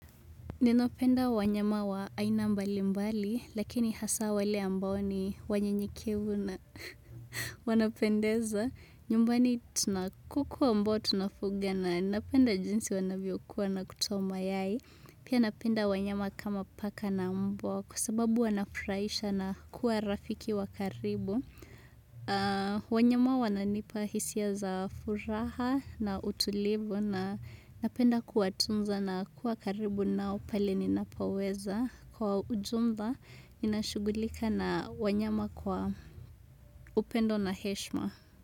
Ninapenda wanyama wa aina mbali mbali, lakini hasa wale ambao ni wanyenyekevu na wanapendeza. Nyumbani tuna kuku ambao tunafuga na napenda jinsi wanavyokuwa na kutoa mayai. Pia napenda wanyama kama paka na mbwa kwa sababu wanafuraisha na kuwa rafiki wa karibu. Wanyama wananipa hisia za furaha na utulivu na napenda kuwatunza na kuwa karibu nao pale ninapoweza kwa ujumba nashugulika na wanyama kwa upendo na heshma.